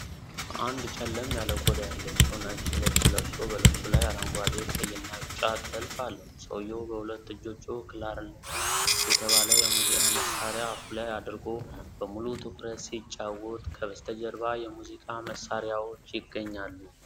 አንድ ጨለም ያለ ቆዳ ያለው ሰው ነጭ ልብስ ለብሶ፣ በልብሱ ላይ አረንጓዴ፣ ቀይና ቢጫ ጥልፍ አለው። ሰውዬው በሁለት እጆቹ ክላርኔት የተባለ የሙዚቃ መሳሪያ አፉ ላይ አድርጎ በሙሉ ትኩረት ሲጫወት፣ ከበስተጀርባ የሙዚቃ መሳሪያዎች ይገኛሉ።